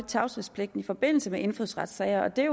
tavshedspligten i forbindelse med indfødsretssager og det